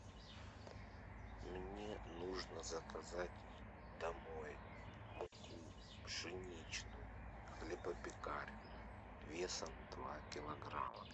мне нужно заказать домой муку пшеничную хлебопекарную весом два килограмма